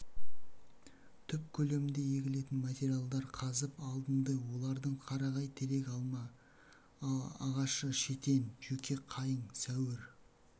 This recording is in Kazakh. түп көлемінде егетін материалдар қазып алдынды олардың қарағай терек алма ағашы шетен жөке қайың сәуір